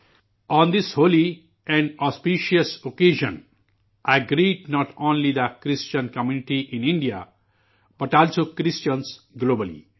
own this holy and auspicious occasion, a great note only the Christian community in India, but also Christians globally